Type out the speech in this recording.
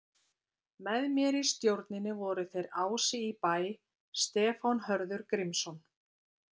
Með mér í stjórninni voru þeir Ási í Bæ, Stefán Hörður Grímsson